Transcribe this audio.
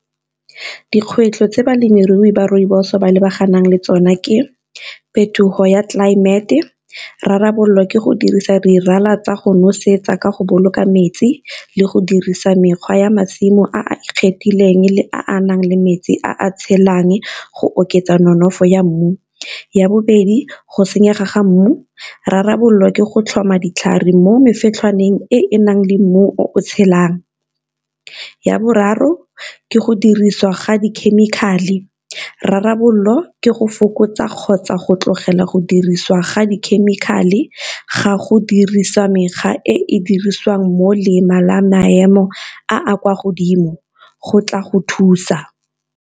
Dikgwetlho tse balemirui ba rooibos ba lebagane le tsona ke phetogo ya tlelaemete, rarabololwa ke go dirisa rala tsa go nosetsa ka go boloka metsi le go dirisa mekgwa ya masimo a a ikgethileng le a nang le metsi a a tshelang go oketsa nonofo ya mmu. Ya bobedi go senyega ga mmu rarabololwa ke go tlhoma ditlhare mo mefetlhwaneng e e nang le mmu o tshelang. Ya boraro ke go dirisiwa ga di-chemical-e, rarabolola ke go fokotsa kgotsa go tlogela go dirisiwa ga di-chemical-e ga go dirisiwa e e dirisiwang mo la maemo a a kwa godimo go tla go thusa.